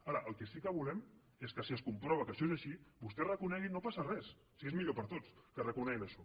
ara el que sí que volem és que si es comprova que això és així vostè reconegui no passa res si és millor per a tots això